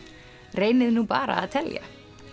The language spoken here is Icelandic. reynið nú bara að telja